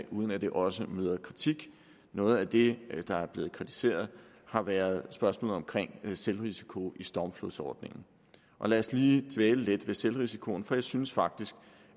uden at de også møder kritik noget af det der er blevet kritiseret har været spørgsmålet om selvrisiko i stormflodsordningen og lad os lige dvæle lidt ved selvrisikoen for jeg synes faktisk